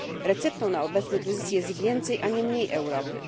Receptą na obecny kryzys jest więcej, a nie mniej Europy.